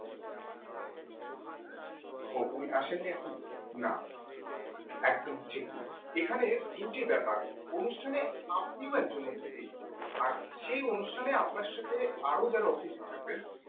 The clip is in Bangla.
ও উনি আছেন নি এখনও না একদমই ঠিক নয় এখানে দুটি ব্যাপার অনুষ্ঠানে আপনিও একজন অতিথি আর সেই অনুষ্ঠানে আপনার সাথে আরও যারা অতিথি থাকবেন